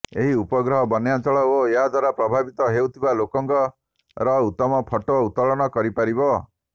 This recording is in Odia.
ଏହି ଉପଗ୍ରହ ବନ୍ୟାଞ୍ଚଳ ଓ ଏହାଦ୍ୱାରା ପ୍ରଭାବିତ ହେଉଥିବା ଲୋକଙ୍କର ଉତ୍ତମ ଫଟୋ ଉତ୍ତୋଳନ କରିପାରିବ